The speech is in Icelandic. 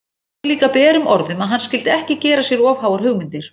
Hún sagði líka berum orðum að hann skyldi ekki gera sér of háar hugmyndir!